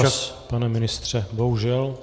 Čas, pane ministře, bohužel.